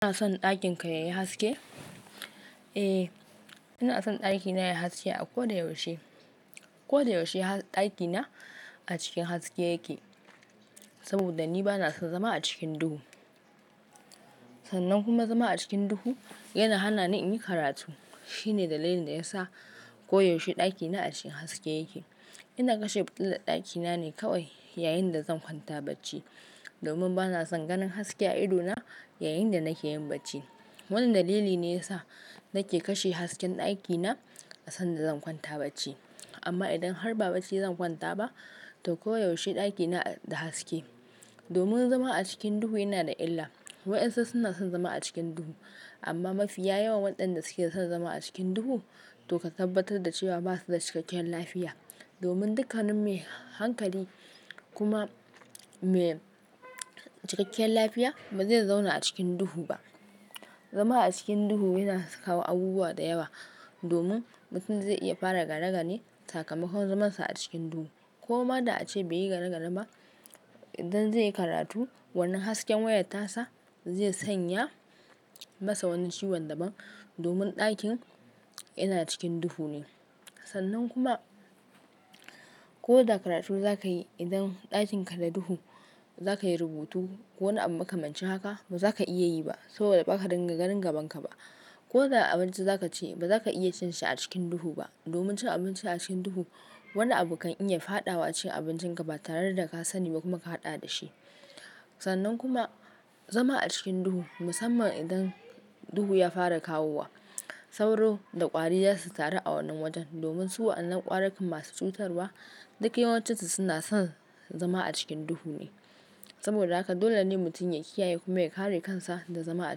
Kana son ɗakin ka yayi haske? Eh, ina son ɗakina yai haske a koda yaushe. Koda yaushe ɗakina a cikin haske yake saboda ni bana son zama a cikin duhu. Sannan kuma zama a cikin duhu yana hana ni in yi karatu. Shine dalilin da yasa koyaushe ɗakina a cikin haske yake. Ina kashe fitilar ɗakina ne kawai yayin da zan kwanta bacci domin bana son ganin haske a ido na yayin da nake yin bacci. Wannan dalili ne yasa nake kashe hasken ɗakina a san da zan kwanta bacci. Amma idan har ba bacci zan kwanta ba, to koyaushe ɗakina da haske. Domin zama a cikin duhu yana da illa. Wayansu suna son zama a cikin duhu amma mafiya yawan waɗanda suke son zama a cikin duhu to ka tabbatar da cewa ba su da cikakken lafiya. Domin dukanin mai hankali kuma mai cikakkiyal lafiya ba zai zauna a cikin duhu ba. Zama a cikin duhu yana kawo abubuwa da yawa domin mutum zai iya fara ganagane sakamakon zamansa a cikin duhu. Koma da ace bai yi ganagane ba, idan zai yi karatu, wannan hasken wayat tasa zai sanya masa wani ciwon daban domin ɗakin yana cikin duhu ne. Sannan kuma, ko da karatu za ka yi, idan ɗakin ka da duhu, za ka yi rubutu ko wani abu maka mancin haka, ba za ka iya yi ba saboda ba ka dinga ganin gabanka ba. Ko da abinci za ka ci, ba za ka iya cin shi a cikin duhu ba domin cin abinci a cikin duhu wani abu kan iya fadawa cikin abincin ka ba tare da ka sani ba kuma ka haɗa da shi. Sannan kuma zama a cikin duhu, musamman idan duhu ya fara kawowa, sauro da ƙwari za su taru a wannan wajen domin su wa'annan ƙwarukan masu cutarwa duk yawancinsu suna son zama a cikin duhu ne. Saboda haka dole ne mutum ya kiyaye kuma ya kare kansa da zama a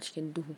cikin duhu.